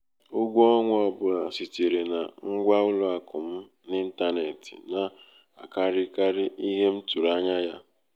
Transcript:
ụgwọ ọnwa ọ bụla sitere na ngwa ụlọ akụ m n'ịntanetị na-akarịkarị ihe m tụrụ anya ya.